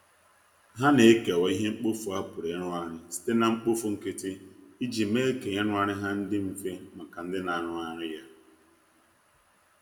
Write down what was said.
ha na ekewa ihe mkpọfụ a pụrụ irụghari site na mkpofụ nkiti ijii mee ka irughari ha ndi mfe maka ndi na arughari ya